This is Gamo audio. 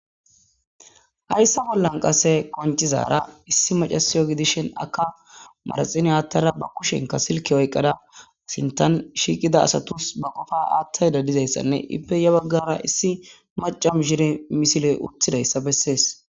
hayssa bollan qase qoncizara issi macasiyo gidishen aka maraxine aattara ba kushenka silke oyqqada asintan shiiqida asatus ba qofa aattay da dizayssanne ippe ya baggara issi macam shire misiley utthidayssa bessees.